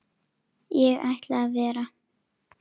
Ég ætla að vera.